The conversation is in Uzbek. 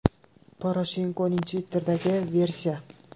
Poroshenkoning Twitter’idagi versiya.